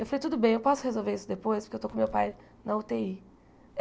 Eu falei, tudo bem, eu posso resolver isso depois, porque eu estou com meu pai na ú tê í.